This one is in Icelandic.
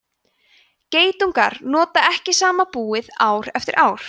geitungar nota ekki sama búið ár eftir ár